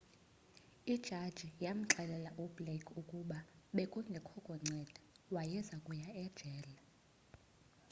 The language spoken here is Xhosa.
ijaji yamxelela u-blake ukuba bekungekho kunceda wayezakuya ejele